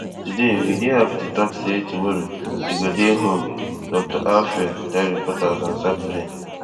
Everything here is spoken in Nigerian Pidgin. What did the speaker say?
today we dey happy to tok say tomorrow e go dey home dr alfer tell reporters on saturday